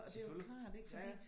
Selvfølgelig ja ja